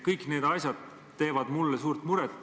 Kõik need asjad teevad mulle suurt muret.